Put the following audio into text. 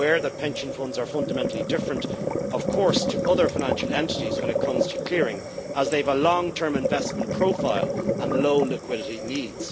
I am aware that pension funds are fundamentally different to other financial entities when it comes to clearing, as they have a long-term investment profile and low liquidity needs.